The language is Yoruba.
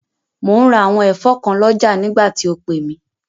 Mò ún ra àwọn ẹ̀fọ́ kan lọ́jà nígbà tí o pè mí